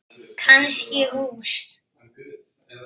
Kannski hús.